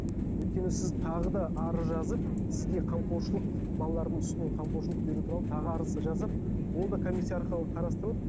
өйткені сіз тағы да арыз жазып сізге қамқоршылық балалардың үстінен қамқоршылық беру туралы тағы арыз жазып ол да комиссия арқылы қарастырылып